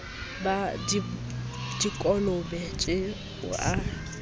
ba dikolobe tje o a